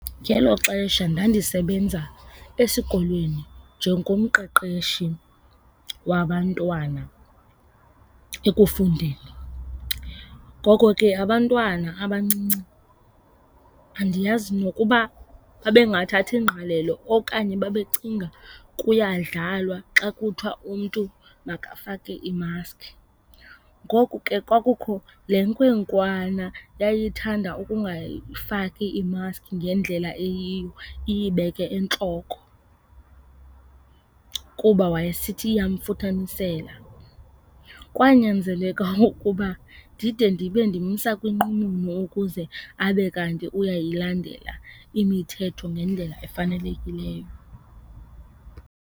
Ngelo xesha ndandisebenza esikolweni njengomqeqeshi wabantwana ekufundeni. Ngoko ke abantwana abancinci andiyazi nokuba babengathathi ngqalelo okanye babecinga kuyadlalwa xa kuthiwa umntu makafake imaskhi. Ngoku ke kwakukho le nkwenkwana yayithanda ukungayifaki imaskhi ngendlela eyiyo iyibeke entloko kuba wayesithi iyamfuthamisela. Kwanyanzeleka ukuba ndide ndibe ndimsa kwinqununu ukuze abe kanti uyayilandela imithetho ngendlela efanelekileyo.